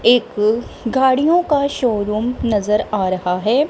एक गाड़ियों का शोरूम नजर आ रहा है।